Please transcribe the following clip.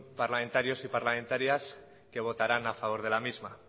parlamentarios y parlamentarias que votarán a favor de la misma